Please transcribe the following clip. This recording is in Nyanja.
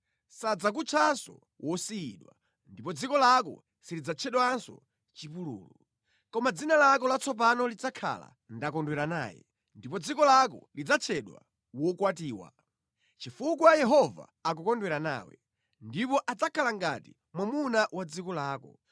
Sadzakutchanso “Wosiyidwa,” ndipo dziko lako silidzatchedwanso “Chipululu.” Koma dzina lako latsopano lidzakhala “Ndakondwera naye.” Ndipo dziko lako lidzatchedwa “Wokwatiwa.” Chifukwa Yehova akukondwera nawe, ndipo adzakhala ngati mwamuna wa dziko lako.